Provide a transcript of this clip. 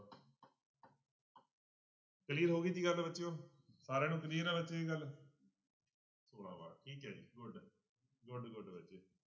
Clear ਹੋ ਗਈ ਜੀ ਗੱਲ ਬੱਚਿਓ ਸਾਰਿਆਂ ਨੂੰ clear ਹੈ ਬੱਚੇ ਇਹ ਗੱਲ ਠੀਕ ਹੈ ਜੀ good good good ਬੱਚੇ